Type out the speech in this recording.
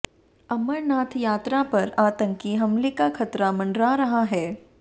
अमरनाथ यात्रा पर आतंकी हमले का खतरा मंडरा रहा है